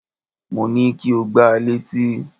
Mo ní kí o gba létí!